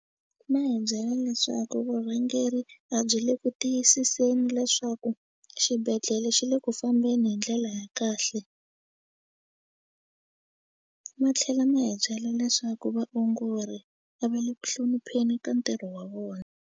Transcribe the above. Ma hi byela leswaku vurhangeri a byi le ku tiyisiseni leswaku xibedhlele xi le ku fambeni hi ndlela ya kahle ma tlhela ma hi byela leswaku vaongori a va le ku hlonipheni ka ntirho wa vona.